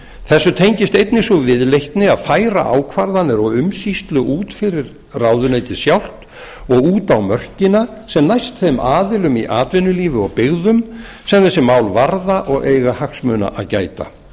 þessu tengist einnig sú viðleitni að færa ákvarðanir og umsýslu út fyrir ráðuneytið sjálft og út á mörkina sem næst þeim aðilum í atvinnulífi og byggðum sem þessi mál varða og eiga hagsmuna að gæta í